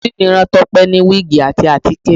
Àǹtí mi rán Tọ́pẹ́ ní wíìgì àti àtíkè